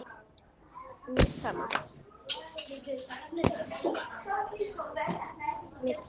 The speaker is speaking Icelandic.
Og mér er sama.